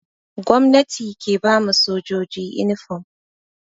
Gomnati ke ba ma sojoji inifom.